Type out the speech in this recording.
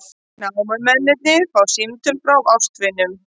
Námumennirnir fá símtöl frá ástvinum